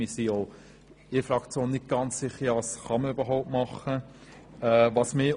Wir sind uns in der Fraktion nicht ganz sicher, was man überhaupt tun kann.